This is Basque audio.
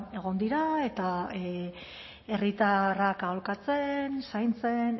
egon dira eta herritarrak aholkatzen zaintzen